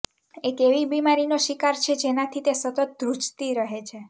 એક એવી બીમારીનો શિકાર છે જેનાથી તે સતત ધ્રુજતી રહે છે